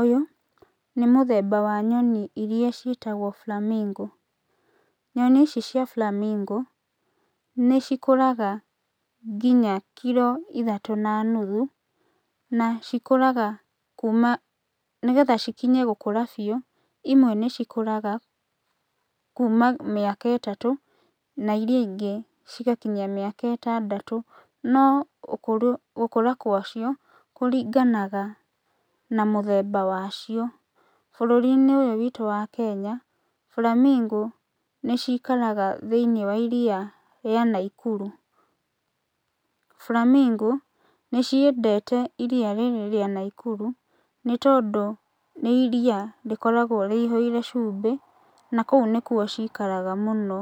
Ũyũ, nĩ mũthemba wa nyoni iria ciĩtagwo flamingo nyoni ici cia flamingo nĩcikũraga nginya kiro ithatũ na nuthu, na cikũraga kuma nĩgetha cikinye gũkũra biũ, imwe nĩcikũraga kuma mĩaka ĩtatũ, na iria ingĩ cigakinyia mĩaka ĩtandatũ. No ũkũrũ gũkũra gwacio kũringanaga na mũthemba wacio. Bũrũrinĩ ũyũ witũ wa Kenya, flamingo nĩcikaraga thĩinĩ wa iria rĩa Naikuru. flamingo, nĩciendete iria rĩrĩ rĩa Naikuru, nĩtondũ nĩ iria rĩkoragwo rĩihũire cumbĩ, na kũu nĩkuo cikaraga mũno.